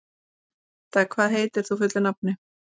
Heida, hvað heitir þú fullu nafni?